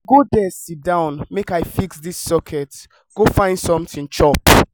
go there sit down make i fix dis socket go find something chop